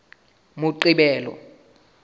moqebelo